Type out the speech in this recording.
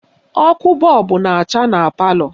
Ọkụ bọọbụ na-acha na palọ